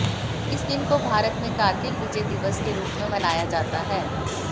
इस दिन को भारत में कारगिल विजय दिवस के रूप में मनाया जाता है